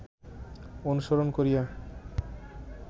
অনুসরণ করিয়া